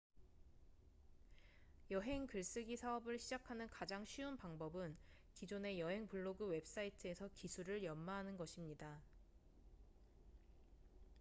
여행 글쓰기 사업을 시작하는 가장 쉬운 방법은 기존의 여행 블로그 웹사이트에서 기술을 연마하는 것입니다